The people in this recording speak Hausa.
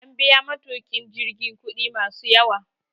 An biya matukin jirgin kudi masu yawa